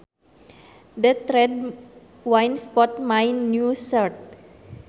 That red wine spotted my new shirt